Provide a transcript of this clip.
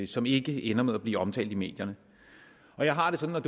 som ikke ender med at blive omtalt i medierne jeg har det sådan